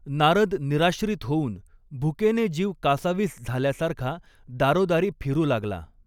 नारद निराश्रित होऊन, भुकेने जीव कासावीस झाल्यासारखा दारोदारी फिरू लागला.